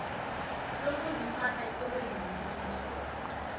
lokuziphatha ekorweni yombuso